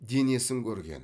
денесін көрген